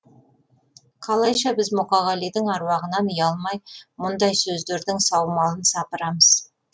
қалайша біз мұқағалидың аруағынан ұялмай мұндай сөздердің саумалын сапырамыз